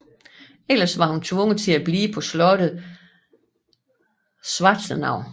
Ellers var hun tvunget til at blive på slottet Schwarzenau